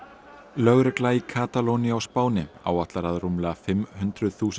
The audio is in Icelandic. lögregla í Katalóníu á Spáni áætlar að rúmlega fimm hundruð þúsund